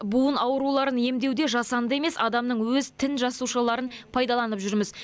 буын ауруларын емдеуде жасанды емес адамның өз тін жасушаларын пайдаланып жүрміз